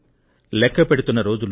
లెక్కపెడుతున్న రోజులు